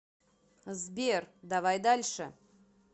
сбер давай дальше